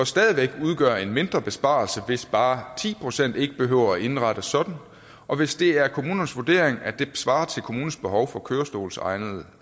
stadig væk udgøre en mindre besparelse altså hvis bare ti procent ikke behøver indrettet sådan og hvis det er kommunernes vurdering at det vil svare til kommunens behov for kørestolsegnede